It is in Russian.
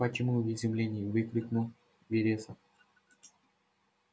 почему в изумлении выкрикнул вересов